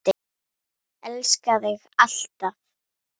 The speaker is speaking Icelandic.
Elska þig alltaf.